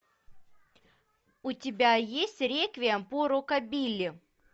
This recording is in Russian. у тебя есть реквием по рокабилли